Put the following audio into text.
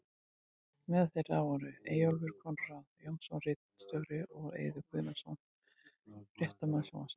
Meðal þeirra voru Eyjólfur Konráð Jónsson ritstjóri og og Eiður Guðnason fréttamaður sjónvarps.